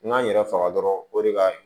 N ka n yɛrɛ faga dɔrɔn o de ka ɲi